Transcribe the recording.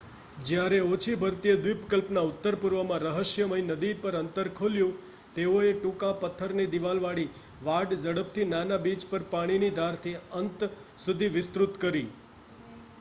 જ્યારે ઓછી ભરતીએ દ્વિપકલ્પના ઉત્તરપૂર્વમાં રહસ્યમય નદી પર અંતર ખોલ્યું તેઓએ ટૂંકા પથ્થરની દિવાલવાળી વાડ ઝડપથી નાના બીચ પર પાણીની ધારથી અંત સુધી વિસ્તૃત કરી